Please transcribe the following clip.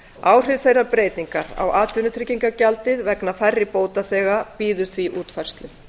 áhrif þeirrar breytingar á atvinnutryggingagjaldið vegna færri bótaþega bíður því útfærslu